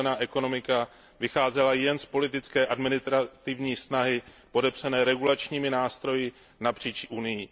zelená ekonomika vycházela jen z politické, administrativní snahy podepřené regulačními nástroji napříč Unií.